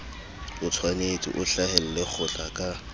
otshwanetse o hlahelle kgotla ka